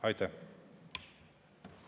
Aitäh!